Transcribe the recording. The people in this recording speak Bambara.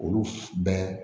Olu bɛ